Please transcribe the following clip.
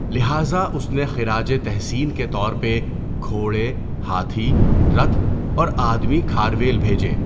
لہٰذا، اس نے خراج تحسین کے طور پہ گھوڑے، ہاتھی، رتھ اور آدمی کھارویل بھیجے۔